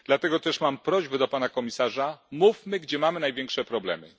Dlatego też mam prośbę do pana komisarza mówmy, gdzie mamy największe problemy.